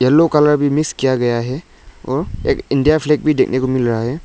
Blue colour में मिस किया गया है और इंडिया फ्लैग भी देखने को मिल रहा है।